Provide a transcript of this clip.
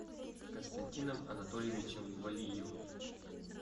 константином анатольевичем валиевым